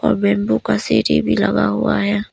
और बंबू का सीढ़ी भी लगा हुआ है।